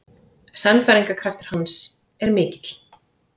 Sannfæringarkraftur hans er mikill.